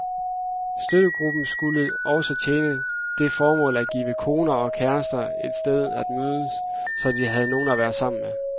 Støttegruppen skulle også tjene det formål at give koner og kærester et sted at mødes, så de havde nogen at være sammen med.